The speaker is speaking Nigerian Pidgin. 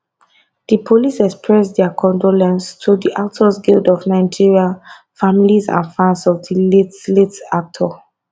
di police express dia condolence to di actors guild of nigeria families and fans of di late late actor